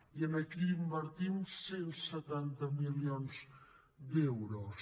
i aquí invertim cent i setanta milions d’euros